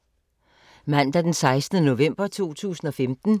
Mandag d. 16. november 2015